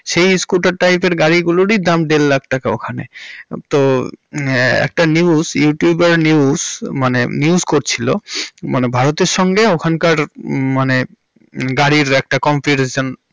সেই স্কুটার টাইপের গাড়িগুলোরই দাম দেড় লাখ টাকা ওখানে। তো একটা newsyoutuber news ~ মানে news করছিলো মানে ভারতের সঙ্গে ওখানকার হুম মানে গাড়ির একটা comparision.